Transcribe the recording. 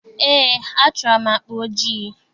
Eé, achọrọ m akpa ojii.